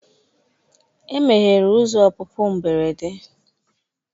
E meghere ụzọ ọpụpụ mberede.